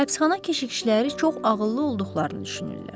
Həbsxana keşişləri çox ağıllı olduqlarını düşünürlər.